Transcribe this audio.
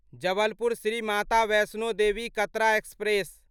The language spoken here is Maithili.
जबलपुर श्री माता वैष्णो देवी कतरा एक्सप्रेस